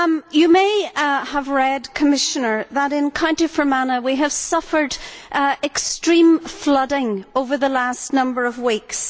You may have read, Commissioner, that in County Fermanagh, we have suffered extreme flooding over the last number of weeks.